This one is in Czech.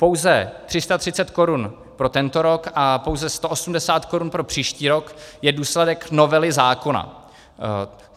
Pouze 330 korun pro tento rok a pouze 180 korun pro příští rok je důsledek novely zákona.